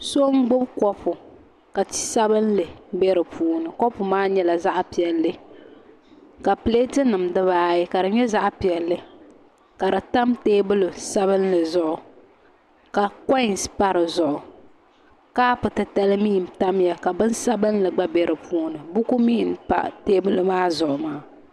So n gbubi kopu ka ti sabinli bɛ di puuni kopu maa nyɛla zaɣ piɛlli ka pileeti nim dibaayi ka di nyɛ zaɣ piɛlli ka di tam teebuli sabinli zuɣu ka koins pa di zuɣu kaapu titali mii n tamya ka bin sabinli gba bɛ dinni buku mii n pa teebuli maa zuɣu maa